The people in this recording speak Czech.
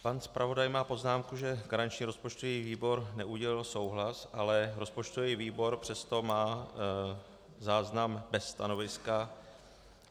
Pan zpravodaj má poznámku, že garanční rozpočtový výbor neudělil souhlas, ale rozpočtový výbor přesto má záznam bez stanoviska.